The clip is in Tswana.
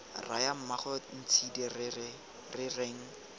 raya mmaagwe ntshidi re reng